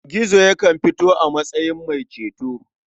Gizo yakan fito a matsayin mai ceto.